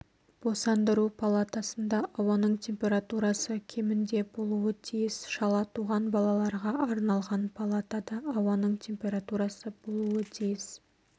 босандыру палатасында ауаның температурасы кемінде болуы тиіс шала туған балаларға арналған палатада ауаның температурасы болуы тиіс